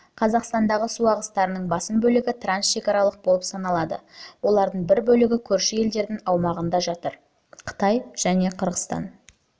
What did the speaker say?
қазақстандағы су ағыстарының басым бөлігі трансшекаралық болып саналады олардың бір бөлігі көрші елдердің аумағында жатыр қытай қырғызстан